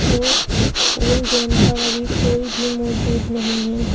और इस pool game पर अभी कोई भी मौजूद नहीं है।